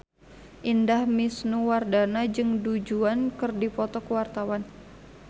Indah Wisnuwardana jeung Du Juan keur dipoto ku wartawan